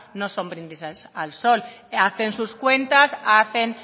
no son brindis al sol hacen sus cuentas